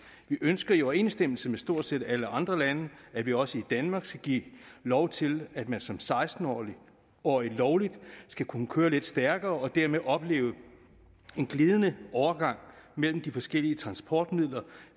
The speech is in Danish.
vi ønsker i overensstemmelse med stort set alle andre lande at vi også i danmark skal give lov til at man som seksten årig lovligt skal kunne køre lidt stærkere og dermed opleve en glidende overgang mellem de forskellige transportmidler